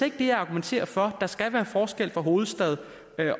ikke det jeg argumenterer for der skal være forskel mellem hovedstad